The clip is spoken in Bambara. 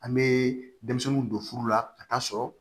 An bɛ denmisɛnninw don furu la ka taa sɔrɔ